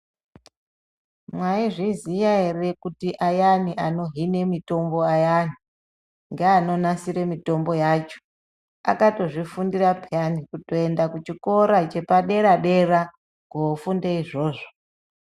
Mwaizviziya ere kuti ayani anohine mutombo ayani ngeanonasire mutombo yacho akatozvifundira payani kutoenda kuchikora chepadera dera kofunde izvozvo.